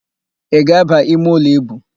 Ị ga-ábà imeụlọ íbù?